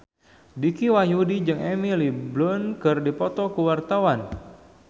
Dicky Wahyudi jeung Emily Blunt keur dipoto ku wartawan